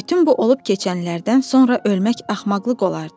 Bütün bu olub-keçənlərdən sonra ölmək axmaqlıq olardı.